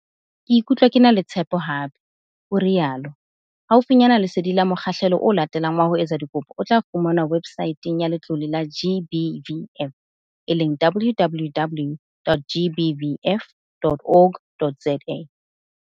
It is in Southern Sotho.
Ke ikutlwa ke na le tshepo hape," o rialo. Haufinyana lesedi la mokgahlelo o latelang wa ho etsa dikopo o tla fumanwa websaeteng ya Letlole la GBVF - www.gbvf.org.za